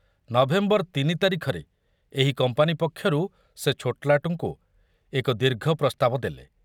November ତିନି ତାରିଖରେ ଏହି କମ୍ପାନୀ ପକ୍ଷରୁ ସେ ଛୋଟଲାଟଙ୍କୁ ଏକ ଦୀର୍ଘ ପ୍ରସ୍ତାବ ଦେଲେ।